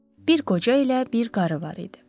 Bir qoca ilə bir qarı var idi.